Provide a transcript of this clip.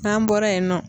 N'an bɔra yen nɔ